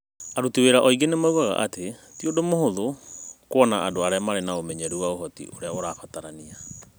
Aruti wĩra aingĩ nĩ moigaga atĩ ti ũndũ mũhũthũ kuona andũ marĩ na ũmenyeru na ũhoti ũrĩa ũrabatarania.